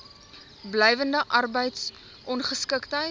blywende arbeids ongeskiktheid